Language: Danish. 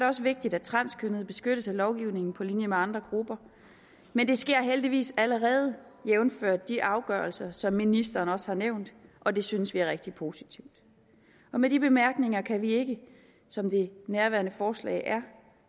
også vigtigt at transkønnede beskyttes af lovgivningen på linje med andre grupper men det sker heldigvis allerede jævnfør de afgørelser som ministeren også har nævnt og det synes vi er rigtig positivt med de bemærkninger kan vi ikke som det nærværende forslag er